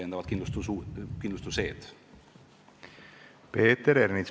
Peeter Ernits, palun!